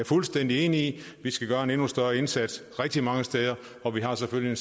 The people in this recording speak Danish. fuldstændig enig i vi skal gøre en endnu større indsats rigtig mange steder og vi har selvfølgelig